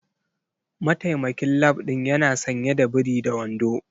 Mataimakin lab din yana sanye da biri da wando.